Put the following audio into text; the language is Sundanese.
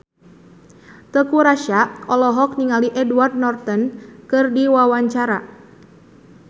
Teuku Rassya olohok ningali Edward Norton keur diwawancara